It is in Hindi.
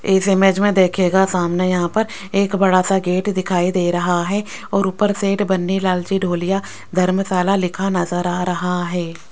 इस इमेज में देखिएगा सामने यहां पर एक बड़ा सा गेट दिखाई दे रहा है और ऊपर सेठ बन्नी लाल जी ढोलिया धर्मशाला लिखा नजर आ रहा है।